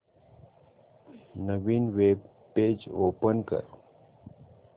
नवीन web page open कर